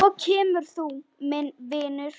Svo kemur þú, minn vinur.